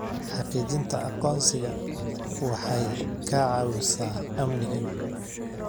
Xaqiijinta aqoonsiga waxay ka caawisaa amniga.